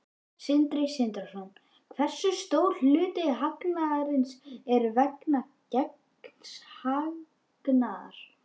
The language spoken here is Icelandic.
Sindri Sindrason: Hversu stór hluti hagnaðarins er vegna gengishagnaðar?